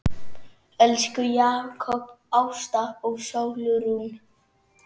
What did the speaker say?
Elsku Jakob, Ásta og Sólrún.